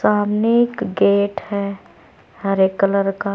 सामने एक गेट है हरे कलर का।